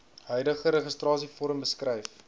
huidige registrasievorm beskryf